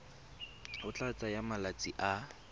go tla tsaya malatsi a